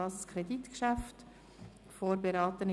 Auch das ist ein Kreditgeschäft, vorberaten von